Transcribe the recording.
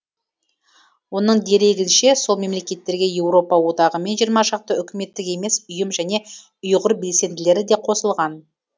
оның дерегінше сол мемлекеттерге еуропа одағы мен жиырма шақты үкіметтік емес ұйым және ұйғыр белсенділері де қосылған